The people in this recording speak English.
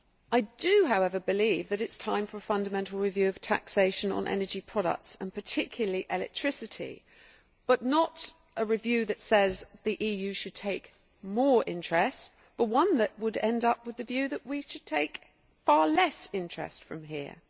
I do, however, believe that it is time for a fundamental review of taxation on energy products and particularly electricity not a review which says the EU should take more interest but one that would end up with the view that we should take far less interest from here.